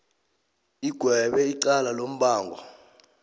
igwebe icala lombango